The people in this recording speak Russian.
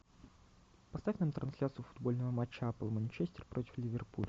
поставь нам трансляцию футбольного матча апл манчестер против ливерпуль